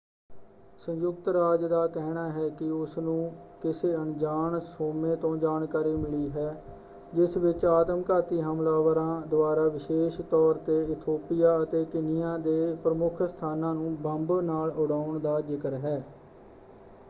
ਸੰਯੁਕਤ ਰਾਜ ਦਾ ਕਹਿਣਾ ਹੈ ਕਿ ਉਸਨੂੰ ਕਿਸੇ ਅਣਜਾਣ ਸੋਮੇ ਤੋਂ ਜਾਣਕਾਰੀ ਮਿਲੀ ਹੈ ਜਿਸ ਵਿੱਚ ਆਤਮਘਾਤੀ ਹਮਲਾਵਰਾਂ ਦੁਆਰਾ ਵਿਸ਼ੇਸ਼ ਤੌਰ 'ਤੇ ਇਥੋਪੀਆ ਅਤੇ ਕੀਨੀਆ ਦੇ ਪ੍ਰਮੁੱਖ ਸਥਾਨਾਂ ਨੂੰ ਬੰਬ ਨਾਲ ਉਡਾਉਣ ਦਾ ਜ਼ਿਕਰ ਹੈ।